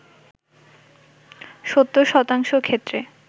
৭০ শতাংশ ক্ষেত্রে